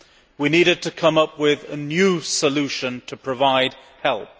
We needed to come up with a new solution to provide help.